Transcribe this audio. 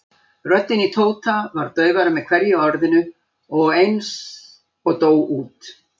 Röddin í Tóta varð daufari með hverju orðinu og eins og dó út.